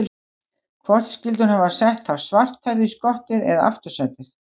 Hvort skyldi hún hafa sett þá svarthærðu í skottið eða aftursætið?